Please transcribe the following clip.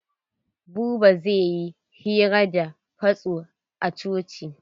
Buba zai yi hira da fasto a coci.